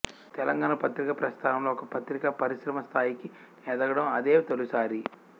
తెలంగాణా పత్రికా ప్రస్థానంలో ఒక పత్రిక పరిశ్రమ స్థాయికి ఎదగటం అదే తొలిసారి